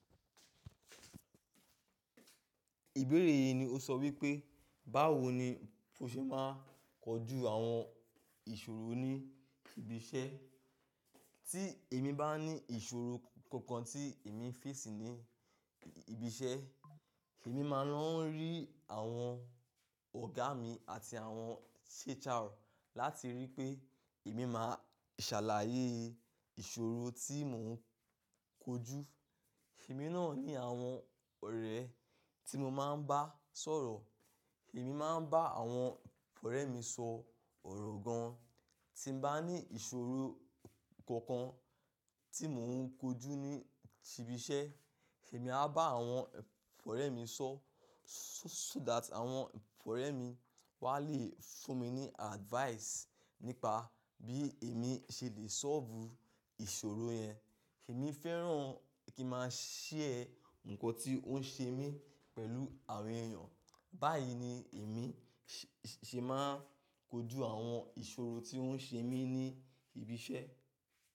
Ìbéèrè yìí ni ó sọ wípé, báwo ni o ṣe máa ń kojú àwọn ìṣòro ní ibi iṣẹ́? Tí èmi bá ní ìṣòro kankan tí èmi ń face ní ibi iṣẹ́, èmi máa ń lọ rí àwọn ọ̀gá mi àti àwọn HR láti ríi pé èmi máa ṣàlàyé ìṣòro tí mò ń kojú. Èmi náà ní àwọn ọ̀rẹ́ tí mo máa ń bá sọ̀rọ̀. Èmi máa ń bá àwọn ọ̀rẹ́ mi sọ ọ̀rọ̀ gan. Tí mo bá ní ìṣòro kankan tí mò ń kojú ní ibi iṣẹ́, èmi á bá àwọn ọ̀rẹ́ mi sọ so that àwọn ọ̀rẹ́ mi wà á le fún mi ní advice nípa bí èmi ṣe le solve ìṣòro yẹn. Èmi fẹ́ràn kí a máa share nǹkan tí ó ń ṣe mí pẹ̀lú àwọn èèyàn. Báyìí ni èmi ṣe máa ń kojú àwọn ìṣòro tí ó ń ṣe mí ní ibi iṣẹ́.